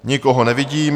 Nikoho nevidím.